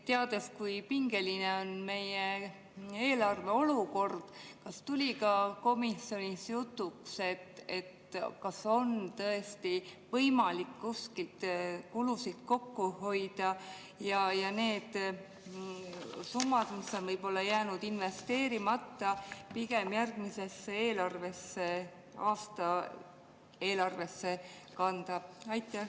Teades, kui pingeline on meie eelarve olukord, kas tuli ka komisjonis jutuks, et kas on tõesti võimalik kuskilt kulusid kokku hoida ja need summad, mis on jäänud investeerimata, pigem järgmise aasta eelarvesse kanda?